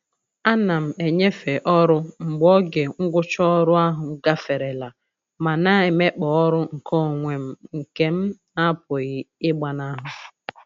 A na m enyefe ọrụ mgbe oge ngwụcha ọrụ ahụ gaferela ma na-emekpa ọrụ nkeonwe m nke m n'apụghị ịgbanahụ.